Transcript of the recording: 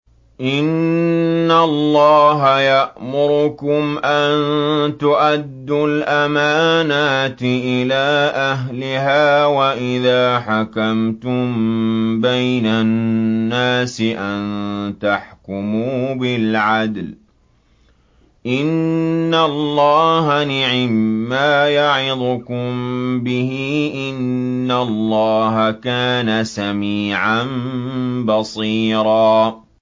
۞ إِنَّ اللَّهَ يَأْمُرُكُمْ أَن تُؤَدُّوا الْأَمَانَاتِ إِلَىٰ أَهْلِهَا وَإِذَا حَكَمْتُم بَيْنَ النَّاسِ أَن تَحْكُمُوا بِالْعَدْلِ ۚ إِنَّ اللَّهَ نِعِمَّا يَعِظُكُم بِهِ ۗ إِنَّ اللَّهَ كَانَ سَمِيعًا بَصِيرًا